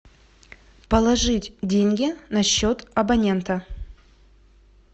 положить деньги на счет абонента